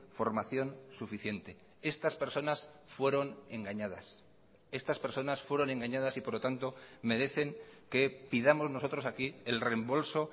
formación suficiente estas personas fueron engañadas estas personas fueron engañadas y por lo tanto merecen que pidamos nosotros aquí el reembolso